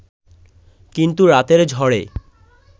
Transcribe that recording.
কিন্তু রাতের ঝড়ে